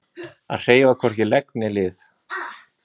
Að hreyfa hvorki legg né lið